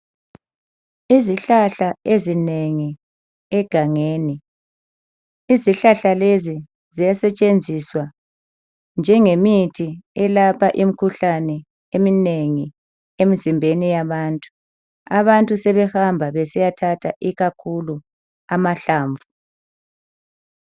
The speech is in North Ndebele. Izihlahla ezinengi egangeni. Izihlahla lezi ziyasetshenziswa njengemithi elapha imikhuhlane eminengi emizimbeni yabantu. Abantu sebehamba besiyathatha ikakhulu amahlamvu